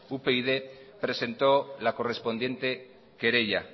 upyd presentó la correspondiente querella